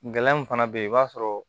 Gɛlɛya min fana bɛ yen i b'a sɔrɔ